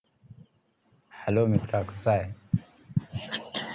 Hello मित्रा कसा आहे